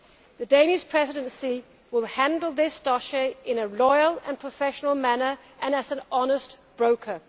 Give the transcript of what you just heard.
The Danish Presidency will handle this dossier in a loyal and professional manner and as an honest broker.